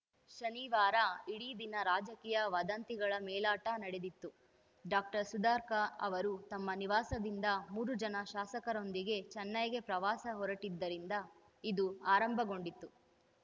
ಶನಿವಾರ ಇಡೀ ದಿನ ರಾಜಕೀಯ ವದಂತಿಗಳ ಮೇಲಾಟ ನಡೆದಿತ್ತು ಡಾಕ್ಟರ್ ಸುಧಾಕರ್‌ ಅವರು ತಮ್ಮ ನಿವಾಸದಿಂದ ಮೂರು ಜನ ಶಾಸಕರೊಂದಿಗೆ ಚೆನ್ನೈಗೆ ಪ್ರವಾಸ ಹೊರಟಿದ್ದರಿಂದ ಇದು ಆರಂಭಗೊಂಡಿತ್ತು